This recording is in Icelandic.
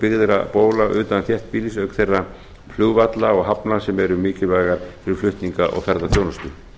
byggðra bóla utan þéttbýli auk þeirra flugvalla og hafna sem eru mikilvægar fyrir flutninga og ferðaþjónustu